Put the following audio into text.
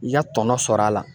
I ka tɔnɔ sɔrɔ a la.